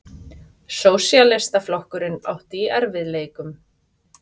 Sósíalistaflokkurinn átti í erfiðleikum.